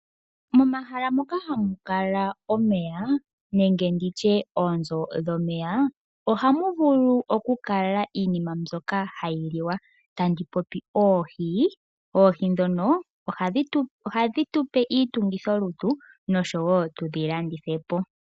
Momahala moka ha mu kala omeya, nenge oonzo dhomeya, oha mu vulu okukala iinima mbyoka ha yi liwa ngaashi oohi. Oohi oha dhi tupe iitungithilutu nosho wo tu dhi landithe po.